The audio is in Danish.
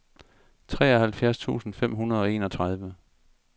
tooghalvfjerds tusind fem hundrede og enogtredive